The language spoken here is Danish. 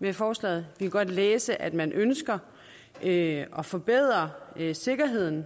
med forslaget vi kan godt læse at man ønsker at forbedre sikkerheden